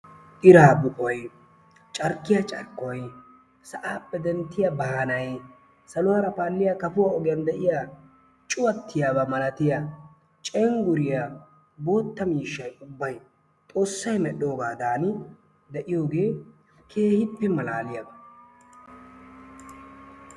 Iraa bukoy carkkiyaa carkkoy sa'aappe denddiyaa baanay saluwaara paalliyaa kafuwaa ogiyaan de'iyaa cuuwattiyaaba malatiyaa cengguriyaa bootta miishshay ubbay xoossay medhoogadani de'iyoogee keehippe malaaliyaaba.